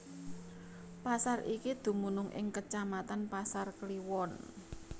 Pasar iki dumunung ing kecamatan Pasar Kliwon